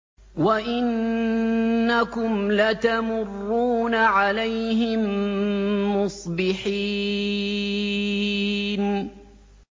وَإِنَّكُمْ لَتَمُرُّونَ عَلَيْهِم مُّصْبِحِينَ